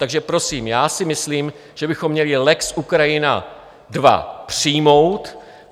Takže prosím, já si myslím, že bychom měli lex Ukrajina II přijmout.